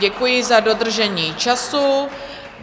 Děkuji za dodržení času.